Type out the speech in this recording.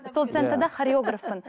сол центрда хареоргафпын